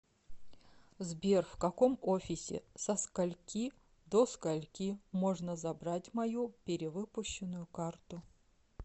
сбер в каком офисе со скольки до скольки можно забрать мою перевыпущенную карту